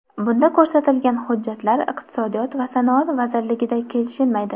Bunda ko‘rsatilgan hujjatlar Iqtisodiyot va sanoat vazirligida kelishilmaydi.